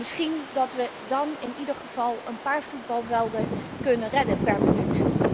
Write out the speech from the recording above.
Misschien dat wij dan in ieder geval een paar voetbalvelden kunnen redden per minuut.